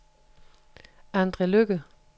Andre Lykke